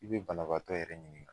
I bɛ banabaatɔ yɛrɛ ɲininka